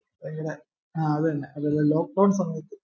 ആ അതെന്നെ അതൊരി lockdown സമയത്ത്